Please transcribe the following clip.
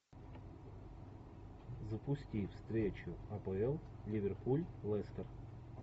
запусти встречу апл ливерпуль лестер